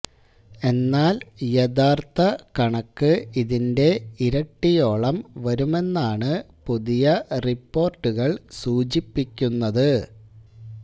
എന്നാൽ യഥാർത്ഥ കണക്ക് ഇതിന്റെ ഇരട്ടിയോളം വരുമെന്നാണ് പുതിയ റിപ്പോർട്ടുകൾ സൂചിപ്പിക്കുന്നത്